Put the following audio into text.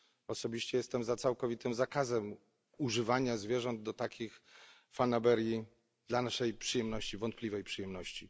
Osobiście jestem za całkowitym zakazem używania zwierząt do takich fanaberii, dla naszej wątpliwej przyjemności.